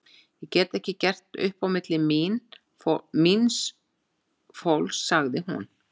Ég get ekki gert upp á milli míns fólks, sagði hún.